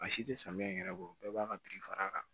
A si tɛ samiya in yɛrɛ bɔ bɛɛ b'a ka birifa kan